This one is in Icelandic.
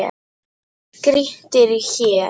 Grýttir í hel.